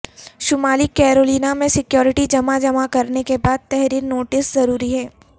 شمالی کیرولینا میں سیکورٹی جمع جمع کرنے کے بعد تحریر نوٹس ضروری ہے